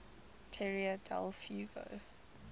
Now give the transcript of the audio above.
tierra del fuego